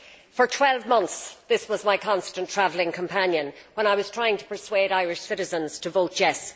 For 12 months, this was my constant travelling companion when I was trying to persuade Irish citizens to vote yes'.